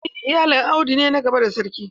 En iyalin audu ne na gaba a sarki.